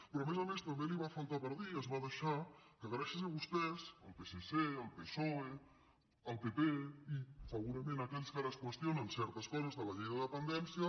però a més a més també li va faltar per dir es va deixar que gràcies a vostès al psc al psoe al pp i segurament a aquells que ara es qüestionen certes coses de la llei de dependència